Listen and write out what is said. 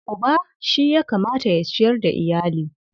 Uba shi ya kamata ya ciyar da iyali.